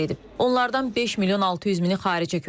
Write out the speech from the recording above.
Onlardan 5 milyon 600 mini xaricə köçüb.